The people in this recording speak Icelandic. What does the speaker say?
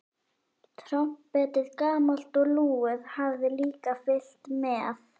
Trompetið, gamalt og lúið, hafði líka fylgt með.